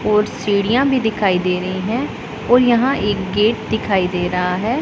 और सीढ़ियाँ भी दिखाई दे रही हैं और यहां एक गेट दिखाई दे रहा है।